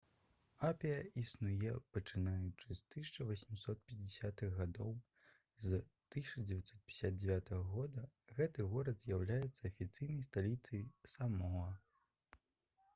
апія існуе пачынаючы з 1850-х гадоў з 1959 года гэты горад з'яўляеца афіцыйнай сталіцай самоа